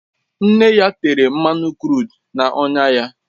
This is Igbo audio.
Nne ya tere mmanụ kru na-onya ya